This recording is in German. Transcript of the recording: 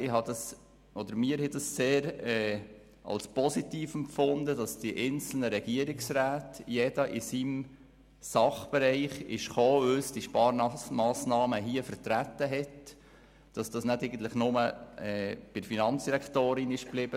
Wir haben es als sehr positiv empfunden, dass die einzelnen Regierungsräte, jeder in seinem Sachbereich, vor uns die Sparmassnahmen vertreten haben, und dass die Aufgabe nicht einfach bei der Finanzdirektorin blieb.